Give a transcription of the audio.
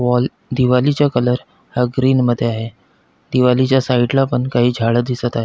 Wall दिवारिच colour हा green मध्ये आहे दिवारिच साइड ला पण काही झाड दिसत आहेत.